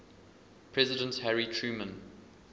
president harry truman